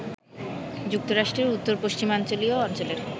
যুক্তরাষ্ট্রের উত্তর-পশ্চিমাঞ্চলীয় অঞ্চলের